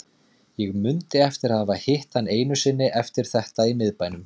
Ég mundi eftir að hafa hitt hann einu sinni eftir þetta í miðbænum.